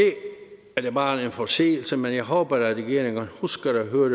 er det bare en forseelse men jeg håber at regeringen husker at høre